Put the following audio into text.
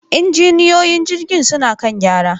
injiniyoyin jirgin suna kan gyara.